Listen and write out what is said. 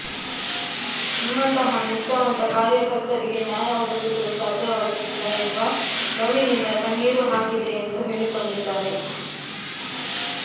ನಿಮ್ಮಂತಹ ನಿಷ್ಠಾವಂತ ಕಾರ್ಯಕರ್ತರಿಗೆ ನ್ಯಾಯ ಒದಗಿಸಲು ಸಾಧ್ಯವಾಗುತ್ತಿಲ್ಲ ಎಂಬ ನೋವಿನಿಂದ ಕಣ್ಣೀರು ಹಾಕಿದ್ದೆ ಎಂದು ಹೇಳಿಕೊಂಡಿದ್ದಾರೆ